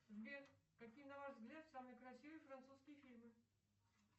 сбер какие на ваш взгляд самые красивые французские фильмы